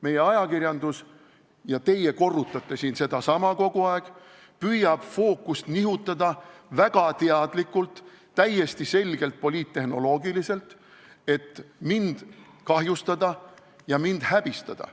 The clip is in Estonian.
Meie ajakirjandus – ja teie korrutate siin kogu aeg sedasama – püüab fookust nihutada ning teeb seda väga teadlikult, täiesti selgelt poliittehnoloogiliselt, et mind kahjustada ja häbistada.